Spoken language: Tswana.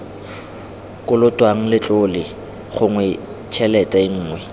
kolotwang letlole gongwe tshelete nngwe